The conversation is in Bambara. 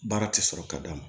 Baara ti sɔrɔ ka d'a ma